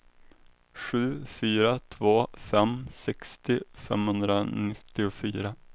sju fyra två fem sextio femhundranittiofyra